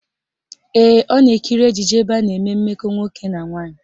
Ee, ọ na-ekiri ejije ebe a na-eme mmekọ nwoke na nwaanyị.